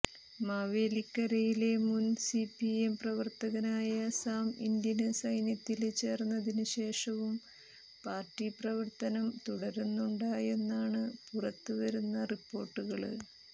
മാവേലിക്കരയിലെ മുന് സിപിഎം പ്രവര്ത്തകനായ സാം ഇന്ത്യന് സൈന്യത്തില് ചേര്ന്നതിന് ശേഷവും പാര്ട്ടി പ്രവര്ത്തനം തുടരുന്നുണ്ടാന്നാണ് പുറത്തുവരുന്ന റിപ്പോര്ട്ടുകള്